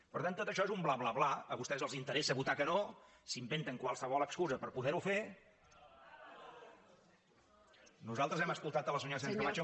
per tant tot això és un bla bla bla a vostès els interessa votar que no s’inventen qualsevol excusa per poder ho fer hem escoltat la senyora sánchez camacho